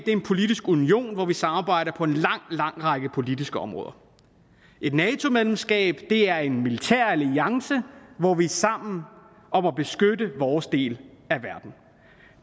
er en politisk union hvor vi samarbejder på en lang lang række politiske områder et nato medlemskab er en militæralliance hvor vi er sammen om at beskytte vores del af verden